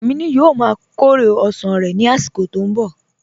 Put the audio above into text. Amìnù yóò má kọ̀rẹ̀ osán rẹ̀ nì àsìkò tó n bọ